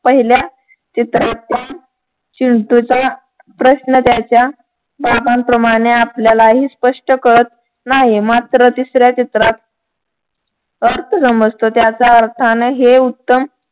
पहिल्या चित्राच्या चिंटूचा प्रश्न त्याच्या पापांप्रमाणे आपल्यालाही स्प्ष्ट काळत नाही मात्र तिसऱ्या चित्रात अर्थ समजतो त्याचा असा अन हे उत्तम